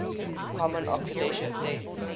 common oxidation states